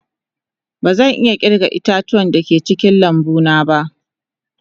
Bazan iya kirga ita-tuwa da ke cikin lambu na ba.